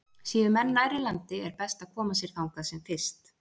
Séu menn nærri landi er best að koma sér þangað sem fyrst.